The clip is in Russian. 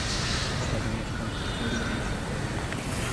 как обменять фунты стерлинги на доллары